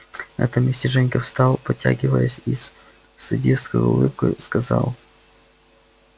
на этом месте женька встал потягиваясь и с садистской улыбкой сказал